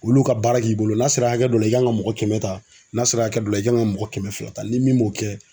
Olu ka baara k'i bolo n'a sera hakɛ dɔ la i kan ka mɔgɔ kɛmɛ ta n'a sera hakɛ dɔ la i kan ka mɔgɔ kɛmɛ fila ta ni min m'o kɛ